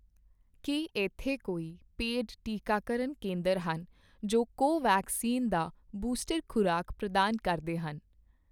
ਕੀ ਇੱਥੇ ਕੋਈ ਪੇਡ ਟੀਕਾਕਰਨ ਕੇਂਦਰ ਹਨ ਜੋ ਕੋਵੈਕਸਿਨ ਦਾ ਬੂਸਟਰ ਖ਼ੁਰਾਕ ਪ੍ਰਦਾਨ ਕਰਦੇ ਹਨ